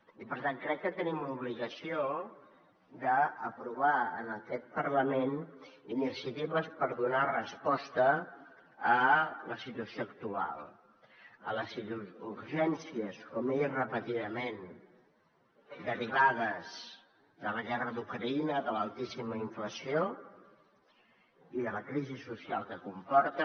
i per tant crec que tenim l’obligació d’aprovar en aquest parlament iniciatives per donar resposta a la situació actual a les urgències com he dit repetidament derivades de la guerra d’ucraïna de l’altíssima inflació i de la crisi social que comporta